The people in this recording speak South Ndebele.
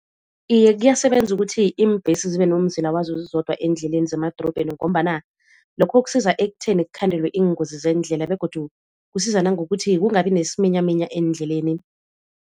Iye kuyasebenza ukuthi iimbhesi zibe nomzila wazo zizodwa eendleleni zemadorobheni ngombana lokho kusiza ekutheni kukhandelwe iingozi zeendlela begodu kusiza nangokuthi kungabi nesiminyaminya eendleleni.